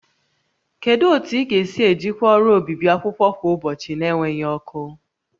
Kedu otu ị ga-esi ejikwa ọrụ obibi akwụkwọ kwa ụbọchị na-enweghị ọkụ?